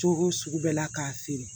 Cogo sugu bɛɛ la k'a feere